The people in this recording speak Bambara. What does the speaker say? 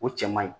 O cɛ man ɲi